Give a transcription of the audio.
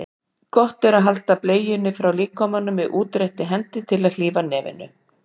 Gott er að halda bleiunni frá líkamanum með útréttri hendi til að hlífa nefinu.